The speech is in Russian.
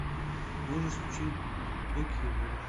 можешь включить глубокие воды